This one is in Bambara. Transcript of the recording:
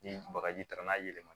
Ni bagaji taara n'a ye